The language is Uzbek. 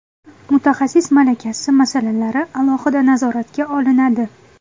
Mutaxassis malakasi masalalari alohida nazoratga olinadi.